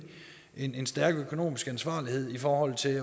en stærk økonomisk ansvarlighed i forhold til